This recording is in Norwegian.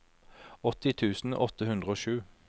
åtti tusen åtte hundre og sju